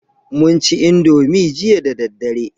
Mun ci Indomie jiya da daddare